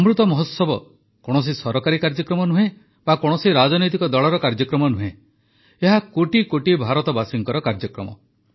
ଅମୃତ ମହୋତ୍ସବ କୌଣସି ସରକାରୀ କାର୍ଯ୍ୟକ୍ରମ ନୁହେଁ ବା କୌଣସି ରାଜନୈତିକ ଦଳର କାର୍ଯ୍ୟକ୍ରମ ନୁହେଁ ଏହା କୋଟି କୋଟି ଭାରତବାସୀଙ୍କ କାର୍ଯ୍ୟକ୍ରମ